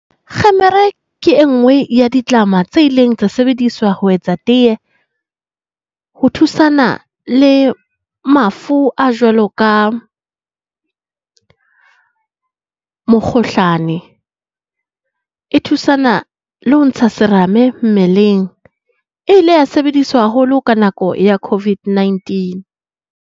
Kgemere ke e nngwe ya ditlama tse ileng tsa sebediswa ho etsa tee. Ho thusana le mafu a jwalo ka mokgohlane. E thusana le ho ntsha serame mmeleng. E ile ya sebediswa haholo ka nako ya COVID-19.